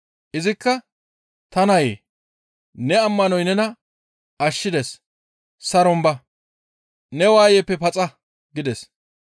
Izikka, «Ta nayee! Ne ammanoy nena ashshides. Saron ba! Ne waayeppe paxa!» gides.